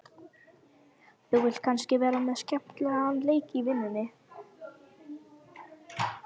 Þú vilt kannski vera með skemmtilegan leik í vinnunni?